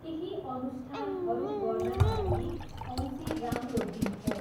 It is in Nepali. केही अनुष्ठानहरू गर्नाका लागि औँसी राम्रो दिन हो।